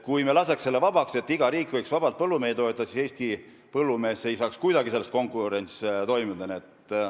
Kui me laseks need reeglid vabaks ja iga riik võiks vabalt põllumehi toetada, siis Eesti põllumees ei saaks kuidagi selles konkurentsis tegutseda.